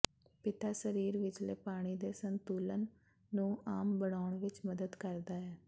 ਪਿਤਾ ਸਰੀਰ ਵਿਚਲੇ ਪਾਣੀ ਦੇ ਸੰਤੁਲਨ ਨੂੰ ਆਮ ਬਣਾਉਣ ਵਿਚ ਮਦਦ ਕਰਦਾ ਹੈ